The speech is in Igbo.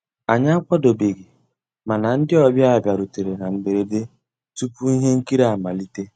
Ànyị́ àkwàdóbéghí màná ndị́ ọ̀bịá bìàrùtérè ná mbérèdé túpú íhé nkírí àmàlíté.